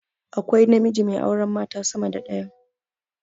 Akwai namiji mai auren mata sama da daya